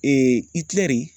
Itilɛri